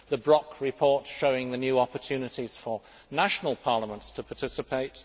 the Brok report showing the new opportunities for national parliaments to participate